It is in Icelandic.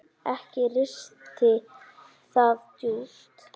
Ekki risti það djúpt.